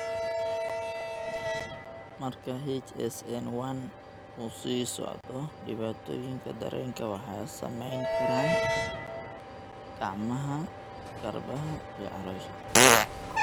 Marka HSN1 uu sii socdo, dhibaatooyinka dareenka waxay saameyn karaan gacmaha, gacmaha, garbaha, iyo caloosha.